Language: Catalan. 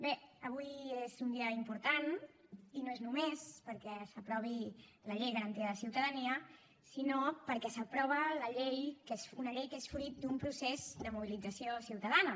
bé avui és un dia important i no és només perquè s’aprovi la renda garantida de ciutadania sinó perquè s’aprova una llei que és fruit d’un procés de mobilització ciutadana